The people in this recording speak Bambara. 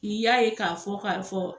I y'a ye k'a fɔ kari fɔ